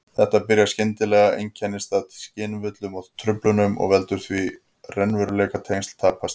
Þetta byrjar skyndilega, einkennist af skynvillum og-truflunum og veldur því að raunveruleikatengsl tapast.